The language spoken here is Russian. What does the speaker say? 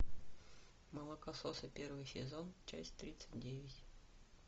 молокососы первый сезон часть тридцать девять